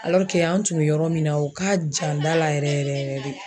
an tun be yɔrɔ min na o ka jan da la yɛrɛ yɛrɛ yɛrɛ de